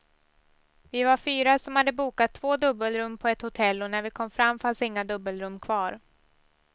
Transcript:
Vi var fyra som hade bokat två dubbelrum på ett hotell och när vi kom fram fanns inga dubbelrum kvar.